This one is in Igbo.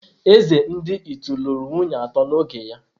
Eze ndi Ịtu lụrụ nwunye atọ n’oge ya.